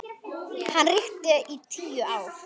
Hann ríkti í tíu ár.